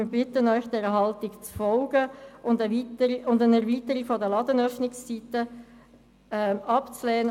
Wir bitten Sie, dieser Haltung zu folgen und eine Erweiterung der Ladenöffnungszeiten abzulehnen.